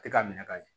Tɛ ka minɛ ka ɲɛ